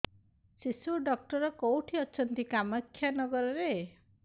ଶିଶୁ ଡକ୍ଟର କୋଉଠି ଅଛନ୍ତି କାମାକ୍ଷାନଗରରେ